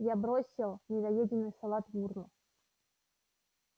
я бросил недоеденный салат в урну